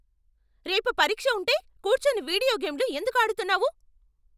రేపు పరీక్ష ఉంటే కూర్చొని వీడియో గేమ్లు ఎందుకు ఆడుతున్నావు?